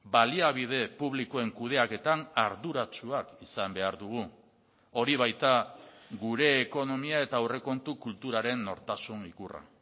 baliabide publikoen kudeaketan arduratsuak izan behar dugu hori baita gure ekonomia eta aurrekontu kulturaren nortasun ikurra